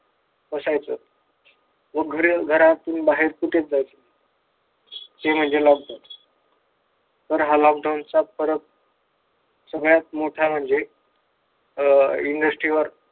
बसायचं घरातून बाहेर कुठेचं जायचं नाही. ते म्हणजे lockdown तर हा lockdown चा फरक सगळ्यांत मोठा म्हणजे